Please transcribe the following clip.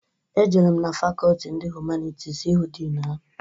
Ejere m na fakọltị ndị Humanitis ihu din ha.